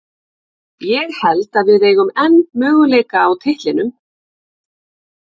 Ég held að við eigum enn möguleika á titlinum.